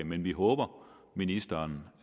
men vi håber at ministeren